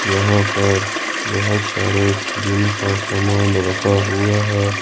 यहां पर बहोत सारे जिम का समान रखा हुआ है।